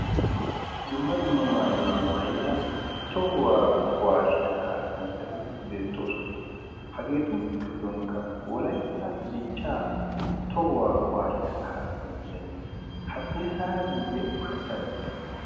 dumma dumma maayuwaa maayida tohuwaa kuwaasiyaa kaasanchchati beexxoosona hageetu giddonkka wolaitta dichchaa tohuwaa kuwaasiyaa kaasanchchay haddiri saara giiyye ushachchaara dii?